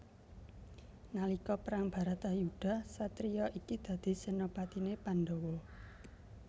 Nalika perang Bratayuda satriya iki dadi senopatiné Pandhawa